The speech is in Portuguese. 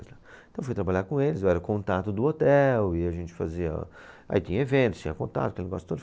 Então fui trabalhar com eles, eu era o contato do hotel e a gente fazia... Aí tinha eventos, tinha contato, tinha negócio todo.